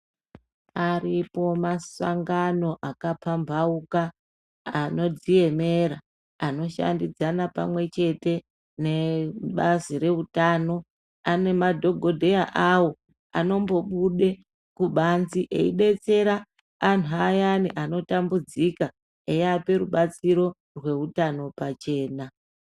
Aripo masangano akapambauka anodziemera anoshandidzana pamwe chete nebazi reutano nemadhokodheya awo anombobude kubanze eidetsera anhu ayani anotambudziko eiape rubatsiro reutano pachena.